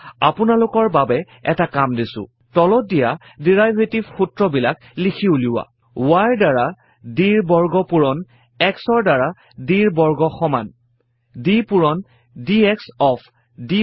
এইয়া আপোনালোকৰ বাবে এটা কাম দিছো তলত দিয়া ডেৰিভেটিভ সূত্ৰবিলাক লিখি উলিওৱা y ৰ দ্বাৰা d ৰ বৰ্গ পূৰণ x ৰ দ্বাৰা d ৰ বৰ্গ সমান d পূৰণ ডিএক্স অফ